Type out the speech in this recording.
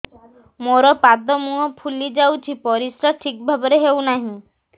ମୋର ପାଦ ମୁହଁ ଫୁଲି ଯାଉଛି ପରିସ୍ରା ଠିକ୍ ଭାବରେ ହେଉନାହିଁ